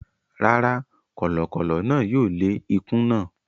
Rárá, kọ̀lọ̀kọ̀lọ̀ náà yóò lé ikún náà.